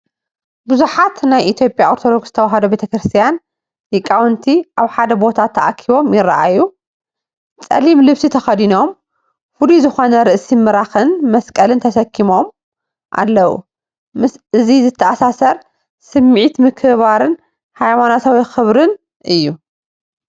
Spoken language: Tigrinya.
ብዙሓት ናይ ኢትዮጵያ ኦርቶዶክስ ተዋህዶ ቤተክርስትያን ሊቃውንቲ ኣብ ሓደ ቦታ ተኣኪቦም ይረኣዩ። ጸሊም ልብሲ ተኸዲኖም ፍሉይ ዝኾነ ርእሲ ምራኽን መስቀልን ተሰኪሞም ኣለዉ። ምስዚ ዝተኣሳሰር ስምዒት ምክብባርን ሃይማኖታዊ ክብርን እዩ።